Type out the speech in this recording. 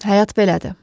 Həyat belədir.